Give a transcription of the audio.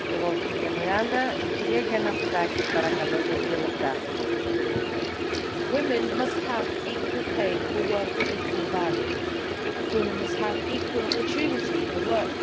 Madam President, women must have equal pay for work of equal value. Women must have equal opportunity in the workplace.